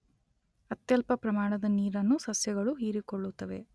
ಅತ್ಯಲ್ಪ ಪ್ರಮಾಣದ ನೀರನ್ನು ಸಸ್ಯಗಳು ಹೀರಿಕೊಳ್ಳುತ್ತವೆ.